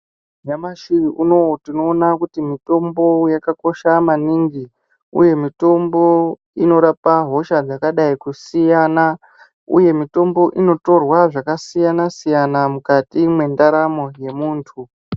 Nyamashi unouyu tinoona kuti mitombo yakakosha maningi, uye mitombo inorapa hosha dzakadai kusiyana, uye mitombo inotora zvakasiyana-siyana mukati mwendaramo yemuntu.